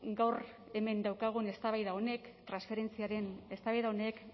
gaur hemen daukagun eztabaida honek transferentziaren eztabaida honek